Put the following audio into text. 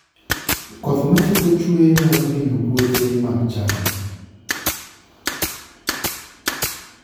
Koth ma siko ka chue nyalo hinyo puothe mag cham